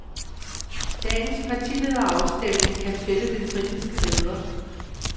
Dagens partilederafstemning kan fælde den britiske leder.